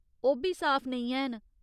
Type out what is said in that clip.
ओह् बी साफ नेईं हैन।